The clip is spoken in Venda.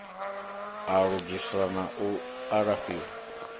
u lugiswa na u alafhiwa